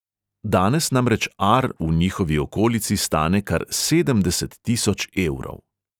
Danes namreč ar v njihovi okolici stane kar sedemdeset tisoč evrov.